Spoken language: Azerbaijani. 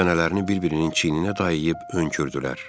Çənələrini bir-birinin çiyninə dayayıb önkürdülər.